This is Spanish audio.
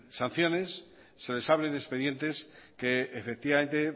sanciones se les abren expedientes que efectivamente